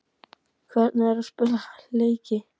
Hvernig er að spila slíka leiki?